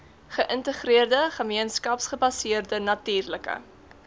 geïntegreerde gemeenskapsgebaseerde natuurlike